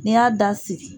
N'i y'a da sigi